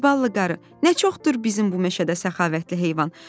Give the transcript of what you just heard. “Ay ballı qarı, nə çoxdur bizim bu meşədə səxavətli heyvan.